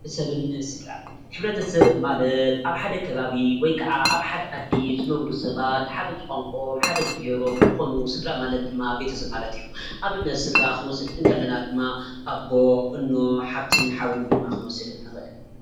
ሕብረተሰብን ስድራን ሕብረተሰብ ማለት ኣብ ሓደ ከባቢ ወይ ከዓ ኣብ ሓደ ዓዲ ዝነብሩ ሰባት ሓደ ዝቋንቆኦም ሓደ ዝብሄሮም እንትኮኑ ስድራ ማለት ድማ ቤተሰብ ማለት እዩ። ንኣብነት ስድራ ክንወስድ ከለና ድማ አቦ፣ እኖ፣ ሓፍትን ሓውን ድማ ክንወስድ ንክእል ።